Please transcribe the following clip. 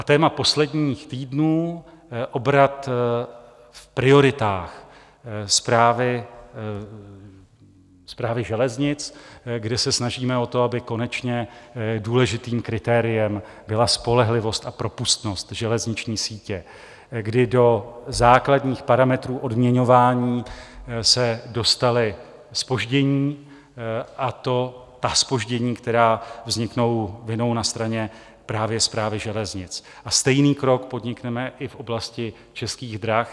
A téma posledních týdnů - obrat v prioritách Správy železnic, kde se snažíme o to, aby konečně důležitým kritériem byla spolehlivost a propustnost železniční sítě, kdy do základních parametrů odměňování se dostala zpoždění, a to ta zpoždění, která vzniknou vinou na straně právě Správy železnic, a stejný krok podnikneme i v oblasti Českých drah.